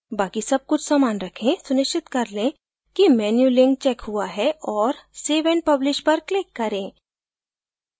बाकि सब कुछ समान रखें सुनिश्चित कर लें कि menu link checked हुआ है और save and publish पर click करें